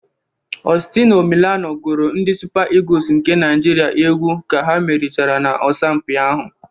Ọstino Milano gụrụ ndị Supa ịgus nke Naịjirịa egwu ka ha merichara n'asọmpi ahụ